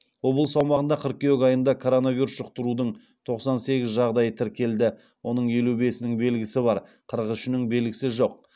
облыс аумағында қыркүйек айында коронавирус жұқтырудың тоқсан сегіз жағдайы тіркелді оның елу бесінің белгісі бар қырық үшінің белгісі жоқ